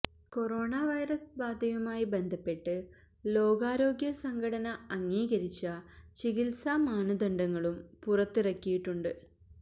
corona virus ബാധയുമായി ബന്ധപ്പെട്ട് ലോകാരോഗ്യ സംഘടന അംഗീകരിച്ച ചികിത്സാ മാനദണ്ഡങ്ങളും പുറത്തിറക്കിയിട്ടുണ്ട്